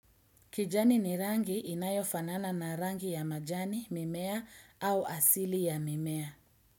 Kijani ni rangi inayofanana na rangi ya majani, mimea au asili ya mimea.